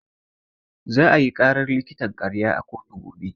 Za ayi ƙarar likitan ƙarya a kotu gobe.